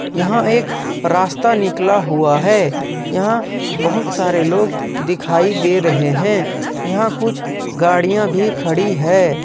यहां एक रास्ता निकाला हुआ है यहां बहुत सारे लोग दिखाई दे रहे हैं यहां कुछ गाड़ियां भी खड़ी है।